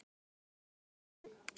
Verður ball?